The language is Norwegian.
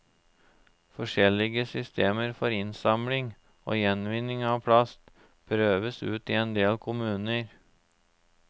Forskjellige systemer for innsamling og gjenvinning av plast prøves ut i en del kommuner.